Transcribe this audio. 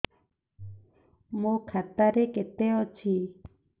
ମୋ ଖାତା ରେ କେତେ ଅଛି